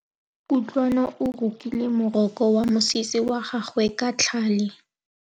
Kutlwanô o rokile morokô wa mosese wa gagwe ka tlhale.